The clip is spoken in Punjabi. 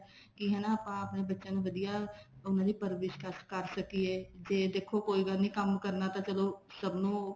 ਕੀ ਹਨਾ ਆਪਾਂ ਆਪਣੇ ਬੱਚਿਆਂ ਨੂੰ ਵਧੀਆ ਉਹਨਾ ਦੀ ਪਰਵਰਿਸ਼ ਕਰ ਸਕੀਏ ਜੇ ਦੇਖੋ ਕੋਈ ਗੱਲ ਨੀ ਕੰਮ ਕਰਨਾ ਤਾਂ ਚਲੋ ਸਭ ਨੂੰ